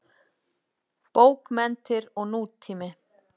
Bókmenntir og nútími.